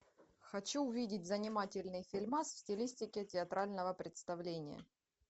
хочу увидеть занимательный фильмас в стилистике театрального представления